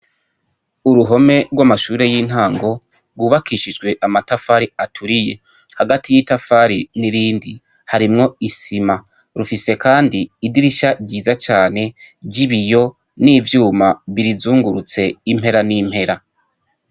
Uruhome rw'amashure y'intango, rwubakishijwe amatafari aturiye. Hagati y'itafari n'irindi harimwo isima. Rufise kandi idirisha ryiza cane ry'ibiyo, n'ivyuma birizingurutse impera n'impera.